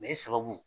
i sababu